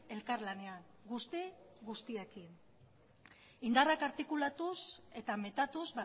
elkarlanean guzti guztiekin indarrak artikulatuz eta metatuz